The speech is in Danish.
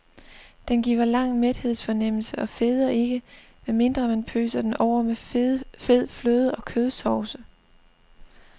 Den giver lang mæthedsfornemmelse og feder ikke, med mindre man pøser den over med fede fløde og kødsovse.